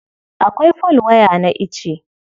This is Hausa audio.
Akwai folwaya na ice.